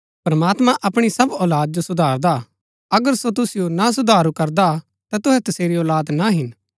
प्रमात्मां अपणी सब औलाद जो सुधारदा हा अगर सो तुसिओ ना सुधारू करदा ता तुहै तसेरी औलाद ना हिन